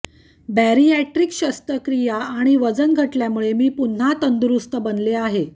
bariatric शस्त्रक्रिया आणि वजन घटल्यामुळे मी पुन्हा तंदुरुस्त बनले आहे